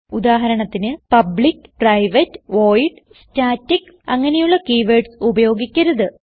ഉദാഹരണത്തിന് public private void static അങ്ങനെയുള്ള keywords ഉപയോഗിക്കരുത്